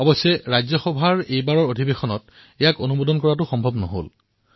অৱশ্যে ৰাজ্যসভাৰ এইবাৰৰ অধিৱেশনত এয়া সম্ভৱ নহল